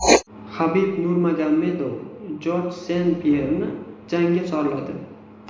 Habib Nurmagomedov Jorj Sen-Pyerni jangga chorladi.